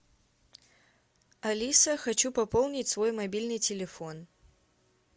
алиса хочу пополнить свой мобильный телефон